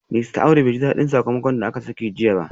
Mista Audu bai ji dadin sakamakon da aka sanar jiya ba